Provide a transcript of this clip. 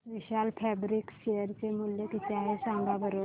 विशाल Fabrics share चे मूल्य किती आहे सांगा बरं